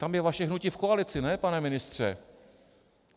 Tam je vaše hnutí v koalici, ne?, pane ministře.